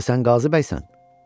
Yoxsa sən Qazı bəysən?